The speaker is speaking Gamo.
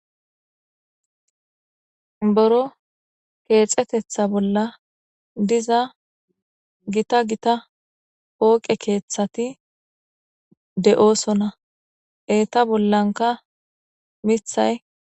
Buro keexetetha bolla diza gita gita pooqe keeththati de'osona eeta bollanka mithay